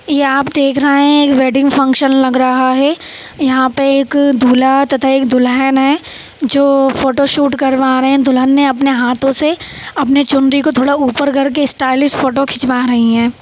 यहाँ पर एक वेडिंग फंक्शन लग रहा है यहाँ पे एक दूल्हा तथा दुल्हन है जो फोटो शूट करवा रहे है दुल्हन ने अपने हाथों से अपने चुनरी को थोड़ा ऊपर कर के स्टाइल्स फोटो खिंचवा रही है।